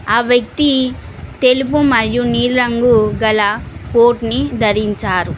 ఆ వ్యక్తి తెలుపు మరియు నీలి రంగు గల కోట్ ని ధరించారు.